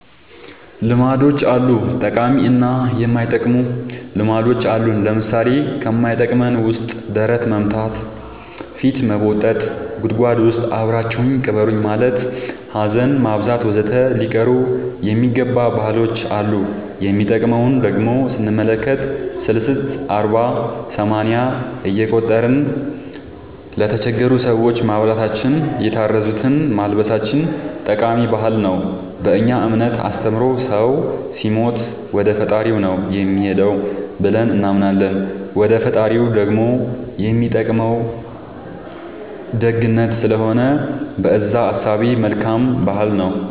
ልማዶች አሉ ጠቃሚ እና የማይጠቅሙ ልማዶች አሉን ለምሳሌ ከማይጠቅመን ውስጥ ደረት መምታ ፊት መቦጠጥ ጉድጎድ ውስጥ አብራችሁኝ ቅበሩኝ ማለት ሀዘን ማብዛት ወዘተ ሊቀሩ የሚገባ ባህሎች አሉ የሚጠቅሙን ደሞ ስንመለከት ሰልስት አርባ ሰማንያ እየቆጠርን ለተቸገሩ ሰዎች ማብላታችን የታረዙትን ማልበሳችን ጠቃሚ ባህል ነው በእኛ እምነት አስተምሮ ሰው ሲሞት ወደፈጣሪው ነው የሚሄደው ብለን እናምናለን ወደ ፈጣሪው ደሞ የሚጠቅመው ደግነት ስለሆነ በእዛ እሳቤ መልካም ባህል ነው